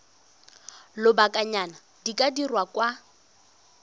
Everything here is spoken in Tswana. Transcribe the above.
lobakanyana di ka dirwa kwa